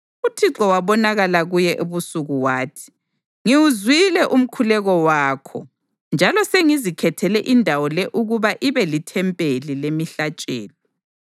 UThixo wabonakala kuye ebusuku wathi: “Ngiwuzwile umkhuleko wakho njalo sengizikhethele indawo le ukuba ibe lithempeli lemihlatshelo.